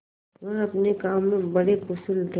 वह अपने काम में बड़े कुशल थे